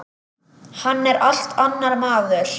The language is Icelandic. Hann er allt annar maður.